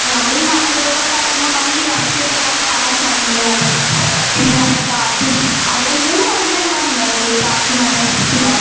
അപ്പൊ നമ്മളീ മലനിരകൾ കയറുമ്പോൾ നമുക്ക് ഈ അണക്കെട്ട് എല്ലാം കാണാൻ സാധിക്കുന്നതാണ് പിന്നെ നല്ല കാറ്റും അവിടെ മൂന്ന് മലനിരകളാ ആണ് ഉണ്ടായിരുന്നത് കാറ്റും മലേം പിന്നെ